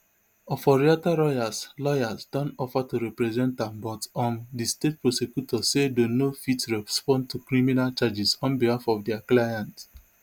oforiatta lawyers lawyers don offer to represent am but um di state prosecutor say dem no fit respond to criminal charges on behalf of dia client